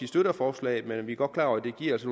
støtter forslaget men vi er godt klar over at det giver os